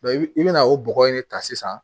i bɛna o bɔgɔ in de ta sisan